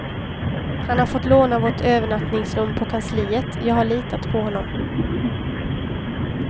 Han har fått låna vårt övernattningsrum på kansliet, jag har litat på honom.